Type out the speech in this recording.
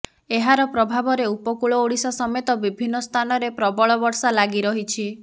ଏହାର ପ୍ରଭାବରେ ଉପକୂଳ ଓଡ଼ିଶା ସମତେ ବିଭିନ୍ନ ସ୍ଥାନରେ ପ୍ରବଳ ବର୍ଷା ଲାଗିରହିଛି